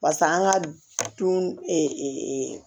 Pase an ka du